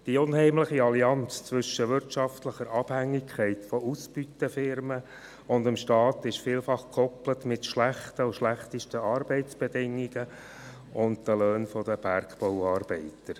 Die unheimliche Allianz zwischen wirtschaftlicher Abhängigkeit von Ausbeuterfirmen und dem Staat ist vielfach an schlechte Arbeitsbedingungen und Löhne der Bergbauarbeiter gekoppelt.